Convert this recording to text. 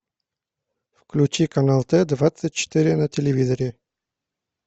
включи канал т двадцать четыре на телевизоре